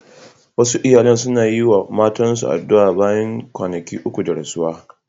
Wasu iyalan suna yi wa mamatansu addu'a bayan kwanaki uku da rasuwarsu.